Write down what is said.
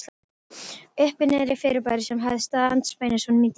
Uppi-Niðri-fyrirbæri, sem hafði staðið andspænis honum í dyngju